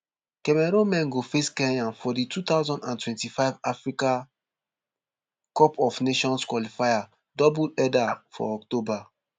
cameroon men go face kenya for di two thousand and twenty-five africa cup of nations qualifier double header for october